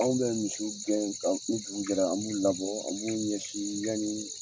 Anw bɛ misiw gɛn ni dugu jɛra an b'u labɔ an b'u ɲɛsin yani